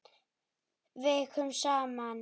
Vikum saman.